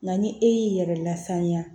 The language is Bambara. Nka ni e y'i yɛrɛ lasaniya